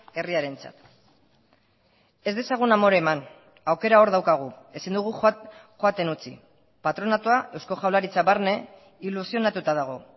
herriarentzat ez dezagun amore eman aukera hor daukagu ezin dugu joaten utzi patronatua eusko jaurlaritza barne ilusionatuta dago